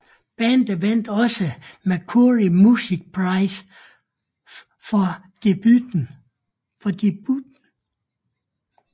Bandet vandt også Mercury Music Prize for debuten